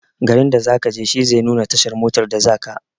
Garin da zakaje shi zai nuna tashar motar da zaka.